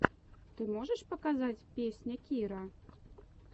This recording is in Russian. ты можешь показать песня кирра